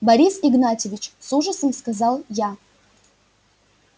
борис игнатьевич с ужасом сказал я